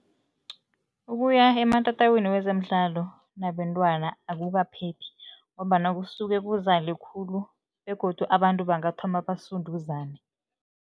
Ukuya ematatawini wezemidlalo nabentwana akukaphephi ngombana kusuke kuzale khulu begodu abantu bangathoma basunduzane.